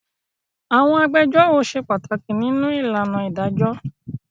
Àwọn agbẹjọ́rò ṣe pàtàkì nínú ìlànà ìdájọ́.